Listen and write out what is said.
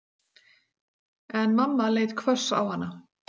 En mamma leit hvöss á hana.